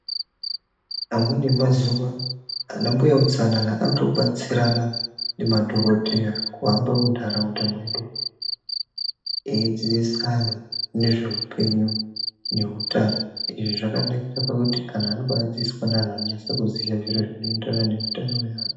Amweni emazuwa ana mbuya utsanana anotobetserana nemadhokodheya kuhamba muntharaunda mwedu eidzidzisa anthu nezveupenyu neutano izvi zvakanakire pakuti anthu anombaadzidziswe neanthu anonyase kuziya zviro zvinoenderana neutano hweanhu.